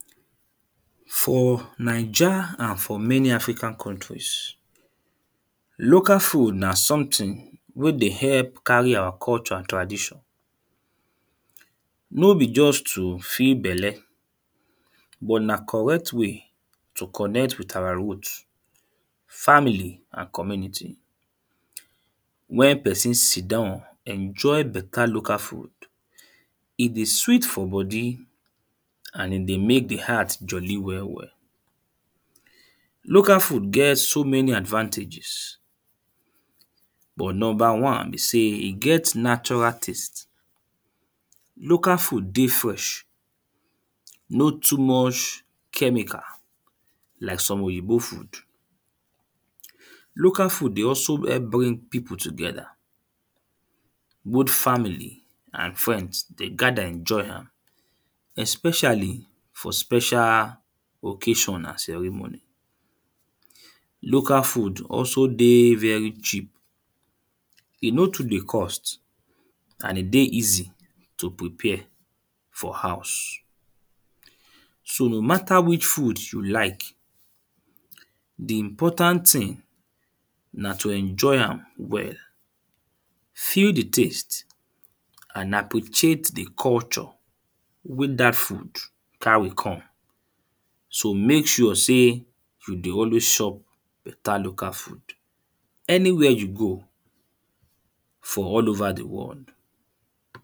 For Naija and for many african countries local food na something wey dey help carry our culture and tradition. No be just to fill belle but na correct way to connect with our root family and community. When person sit down enjoy better local food. E dey sweet for body and e dey make the heart jolly well well. Local food get so many advantages. But number one be sey e get natural taste. Local food dey fresh. No too much chemical like some Oyinbo food. Local food dey also help bring people together. Both family and friends dey gather enjoy am. Especially for special occasion and ceremony. Local food also dey very cheap. E no too dey cost and e dey easy to prepare for house. So, no matter which food you like the important thing na to enjoy am well. Feel the taste and appreciate the culture wey dat food carry come. So, make sure sey you dey always chop better local food anywhere you go for all over the world.